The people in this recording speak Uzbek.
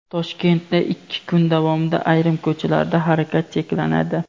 Toshkentda ikki kun davomida ayrim ko‘chalarda harakat cheklanadi.